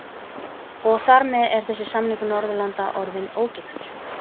Höskuldur: Og þar með er þessi samningur Norðurlanda orðinn ógildur?